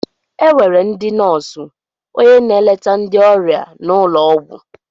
Enwere ndị nóósu, ónyé na-eleta ndị ọrịa n' ụlọ ọgwụ.